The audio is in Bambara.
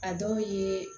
A dɔw ye